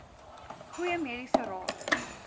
goeie mediese raad